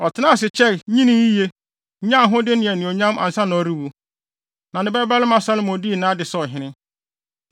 Ɔtenaa ase kyɛe, nyinii yiye, nyaa ahode ne anuonyam ansa na ɔrewu. Na ne babarima Salomo dii nʼade sɛ ɔhene.